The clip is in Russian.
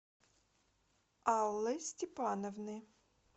аллы степановны